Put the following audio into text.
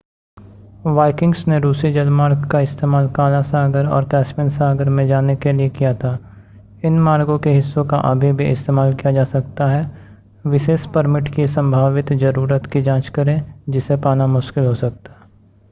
Vikings ने रूसी जलमार्ग का इस्तेमाल काला सागर और कैस्पियन सागर में जाने के लिए किया था इन मार्गों के हिस्सों का अभी भी इस्तेमाल किया जा सकता है विशेष परमिट की संभावित ज़रूरत की जांच करें जिसे पाना मुश्किल हो सकता है